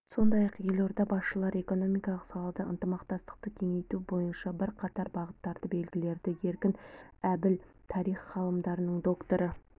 сондай-ақ елорда басшылары экономикалық салада ынтымақтастықты кеңейту бойынша бірқатар бағыттарды белгіледі еркін әбіл тарих ғылымдарының докторы